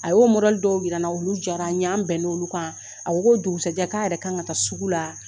A y'o dɔw yira n na olu jara n ye, an bɛn na olu kan . A ko k'o dugusajɛ a yɛrɛ kan ka taa sugu la.